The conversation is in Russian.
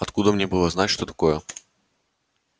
откуда мне было знать что такое